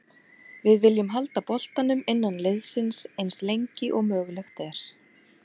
Við viljum halda boltanum innan liðsins eins lengi og mögulegt er.